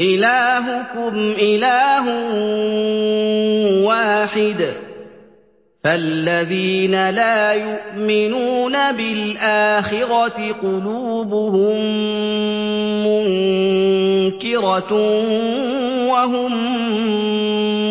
إِلَٰهُكُمْ إِلَٰهٌ وَاحِدٌ ۚ فَالَّذِينَ لَا يُؤْمِنُونَ بِالْآخِرَةِ قُلُوبُهُم مُّنكِرَةٌ وَهُم